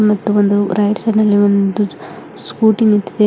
ಮತ್ತು ಒಂದು right side ಅಲ್ಲಿ ಒಂದು ಸ್ಕೂಟಿ ನಿಂತಿದೆ ಹೊರ--